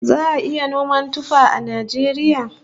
Za'a iya noman tuffaha a Najeriya?